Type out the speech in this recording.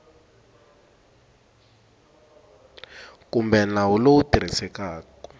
kumbe nawu lowu wu tirhisekaku